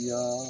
Yan